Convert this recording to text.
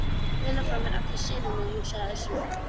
Hann stelur frá mér allri senunni, hugsaði Össur.